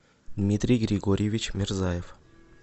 дмитрий григорьевич мирзаев